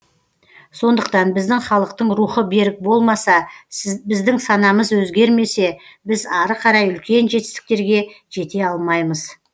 сондықтан біздің халықтың рухы берік болмаса біздің санамыз өзгермесе біз ары қарай үлкен жетістіктерге жете алмаймыз